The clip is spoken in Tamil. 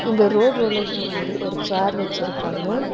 இந்த ரோடு ரோலருக்கு முன்னாடி ஒரு சேர் வச்சிருக்காங்க.